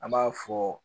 An b'a fɔ